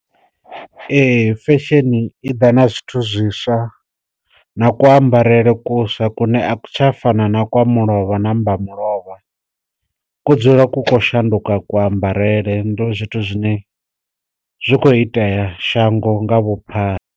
Ee fesheni i ḓa na zwithu zwiswa na ku ambarele kuswa kune tsha fana na kwa mulovha namba mulovha, ku dzula ku kho shanduka ku ambarele ndi zwithu zwine zwi khou itea shango nga vhuphara.